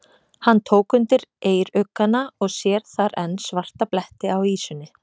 Hann tók undir eyruggana og sér þar enn svarta bletti á ýsunni.